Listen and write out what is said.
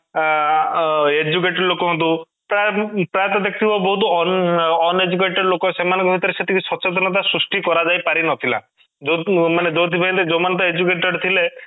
ଅଂ ଅଂ educate ଲୋକ ହୁଅନ୍ତୁ ପ୍ରାୟତଃ ଦେଖିଥିବ ବହୁତ ଅନଂ uneducate ଲୋକ ସେମାନଙ୍କ ଭିତରେ ସେତିକି ସଚେତନତା ସୃଷ୍ଟି କରାଯାଇପାରିନଥିଲା ଯୋଉ ମାନେ ତ educate ଥିଲେ